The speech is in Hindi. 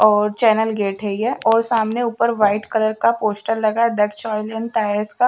और चैनल गेट है यह और सामने ऊपर व्हाइट कलर का पोस्टर लगा है दक्ष ऑइल एंड टायर्स का।